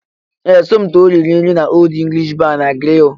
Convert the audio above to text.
Ee! Somto riri nri n'Old English Bar na Grill.